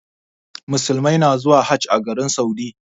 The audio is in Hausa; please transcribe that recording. Muslimai na zuwa Hajj a garin Saudi.